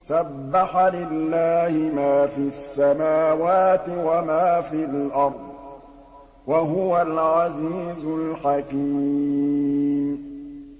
سَبَّحَ لِلَّهِ مَا فِي السَّمَاوَاتِ وَمَا فِي الْأَرْضِ ۖ وَهُوَ الْعَزِيزُ الْحَكِيمُ